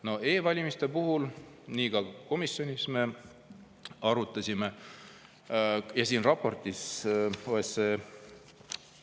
E-valimiste puhul me ka komisjonis arutasime ja siin OSCE raportis …